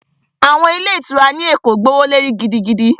Àwọn ilé ìtura ní Èkó gbówó lórí gidigidi